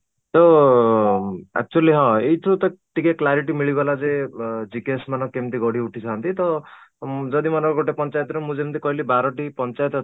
ତ ଅଂ actually ହଁ ଏଇଥିରୁ ତ ଟିକେ clarity ମିଳିଗଲା ଯେ ଅଂ GKS ମାନେ କେମିତି ଗଢିଉଠିଥାନ୍ତି ତ ଯଦି ମନେକର ଗୋଟେ ପଞ୍ଚାୟତ ର ମୁଁ ଯେମିତି କହିଲି ବାରଟି ପଞ୍ଚାୟତ ଅଛି